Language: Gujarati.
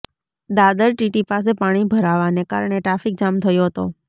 દાદર ટીટી પાસે પાણી ભરાવાને કારણે ટ્રાફિક જામ થયો હતો